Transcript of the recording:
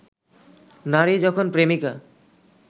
নারী যখন প্রেমিকা